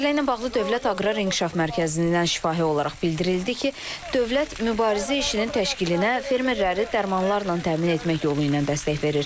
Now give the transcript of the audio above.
Məsələ ilə bağlı Dövlət Aqrar İnkişaf Mərkəzindən şifahi olaraq bildirildi ki, dövlət mübarizə işinin təşkilinə fermerləri dərmanlarla təmin etmək yolu ilə dəstək verir.